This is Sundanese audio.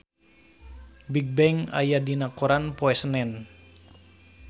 Bigbang aya dina koran poe Senen